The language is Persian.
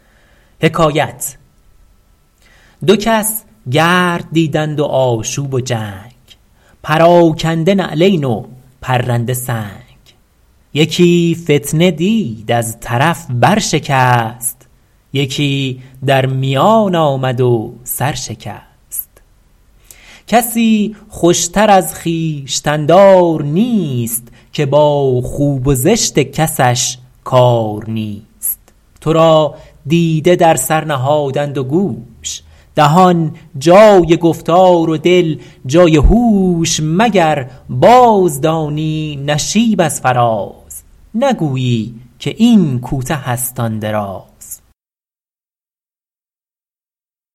دو کس گرد دیدند و آشوب و جنگ پراکنده نعلین و پرنده سنگ یکی فتنه دید از طرف بر شکست یکی در میان آمد و سر شکست کسی خوشتر از خویشتن دار نیست که با خوب و زشت کسش کار نیست تو را دیده در سر نهادند و گوش دهان جای گفتار و دل جای هوش مگر باز دانی نشیب از فراز نگویی که این کوته است آن دراز